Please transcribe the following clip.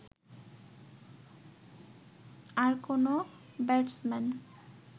আর কোনো ব্যাটসম্যান